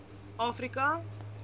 afrika